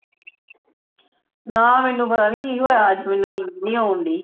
ਨਾ ਮੈਨੂੰ ਪਤਾ ਨੀ ਕਿ ਹੋਇਆ ਅੱਜ ਮੈਨੂੰ ਨੀਂਦ ਨੀ ਆਉਣ ਡੇਈ